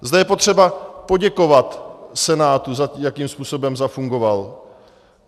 Zde je potřeba poděkovat Senátu za to, jakým způsobem zafungoval.